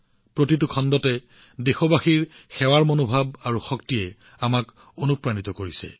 প্ৰতিটো খণ্ডতে দেশবাসীৰ সেৱা আৰু সামৰ্থ্যৰ মনোভাৱে আনক অনুপ্ৰাণিত কৰিছে